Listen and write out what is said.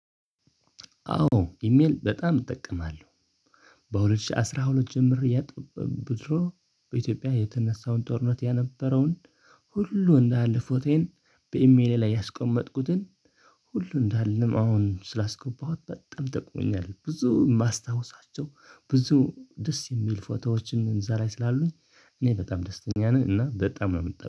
አዎ ኢሜል በጣም እጠቀማለሁ። በሁለት ሺህ አስራ ሁለት ጀምሮ የጦር ቡድኖች የተነሳውን ጦርነት ያነበረውን ሁሉ እንዳለ ፎቶየን በኢሜሌ ላይ ያስቀመጥኩትን ሁሉ እንዳለንም አሁን ስላስገባኋት በጣም ጠቅሞኛል። ብዙ የማስታውሳቸው ብዙ ደስ የሚል ፎቶዎችን እዛ ላይ ስላሉኝ እኔ በጣም ደስተኛ ነኝ። እና በጣም ነው የምትለው